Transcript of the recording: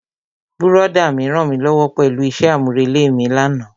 Brọ̀dá mi rànmílówó pẹ̀lú isẹ́ àmúrelé mi lánàá.